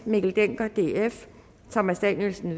mikkel dencker thomas danielsen